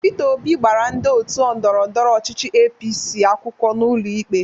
Pita Obi gbara ndị otu ndọrọndọrọ ọchịchị APC akwụkwọ n'ụlọ ikpe.